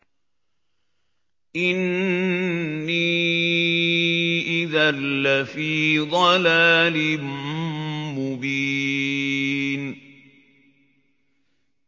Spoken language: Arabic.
إِنِّي إِذًا لَّفِي ضَلَالٍ مُّبِينٍ